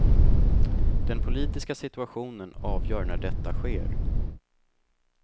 Den politiska situationen avgör när detta sker.